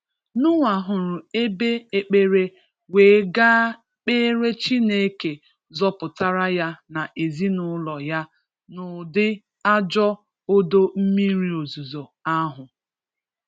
Noah hụrụ ebe ekpere wéé ga kpere Chineke zọpụtara ya nà ezinụlọ ya n'ụdị ajọ odo mmiri ozizo ahu.